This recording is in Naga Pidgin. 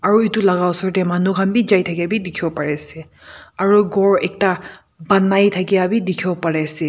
ari edu laka osor tae manu khan bi jai thakabi dikhiwo pariase aro ekta khor banai thakya bi dikhiwo parease.